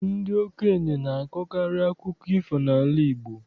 Ọ bụ ndị okenye na-akọkarị akụkọ ifo n'ala Igbo.